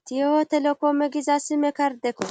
itiyo telekoome giza sime kardekko